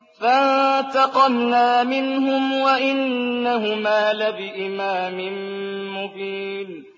فَانتَقَمْنَا مِنْهُمْ وَإِنَّهُمَا لَبِإِمَامٍ مُّبِينٍ